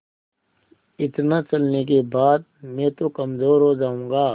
इतना चलने के बाद मैं तो कमज़ोर हो जाऊँगा